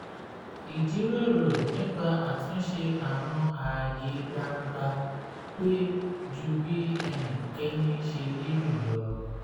ìjíròrò nípa àtúnṣe àwọn ààyè gbangba pẹ́ ju bí ẹnikẹni ṣe lérò lọ